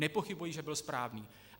Nepochybuji, že byl správný.